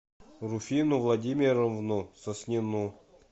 руфину владимировну соснину